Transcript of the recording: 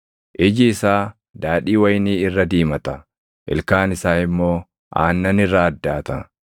Iji isaa daadhii wayinii irra diimata; ilkaan isaa immoo aannan irra addaata.